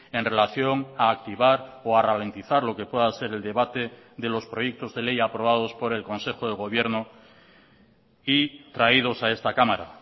en relación a activar o a ralentizar lo que pueda ser el debate de los proyectos de ley aprobados por el consejo de gobierno y traídos a esta cámara